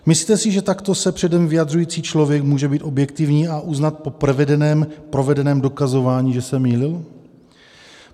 Myslíte si, že takto se předem vyjadřující člověk může být objektivní a uznat po provedeném dokazování, že se mýlil?